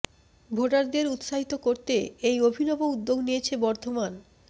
ভোটারদের উত্সাহিত করতে এই অভি নব উদ্যোগ নিয়েছে বর্ধমান